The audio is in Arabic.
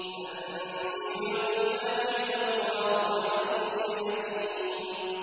تَنزِيلُ الْكِتَابِ مِنَ اللَّهِ الْعَزِيزِ الْحَكِيمِ